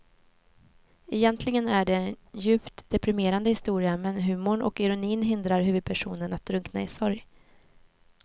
Egentligen är det en djupt deprimerande historia men humorn och ironin hindrar huvudpersonen att drunkna i sorg.